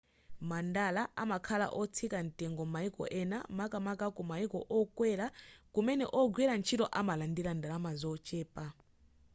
mandala amakhala otsika ntengo maiko ena makamaka kumaiko okwela kumene ogwira ntchito amalandila ndalama zochepa